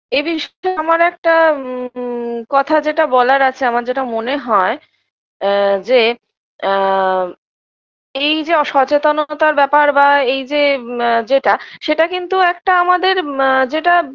এ বিষয়ে আমরা একটা উ উ কথা যেটা বলার আছে আমার যেটা মনে হয় এ যে এ এই যে অসচেতনতার ব্যপার বা এই যে আ যেটা সেটা কিন্তু একটা আমাদের আ যেটা